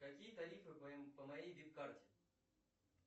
какие тарифы по моей вип карте